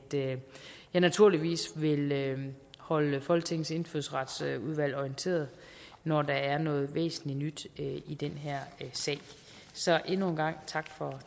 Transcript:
jeg naturligvis vil holde folketingets indfødsretsudvalg orienteret når der er noget væsentligt nyt i den her sag så endnu en gang tak for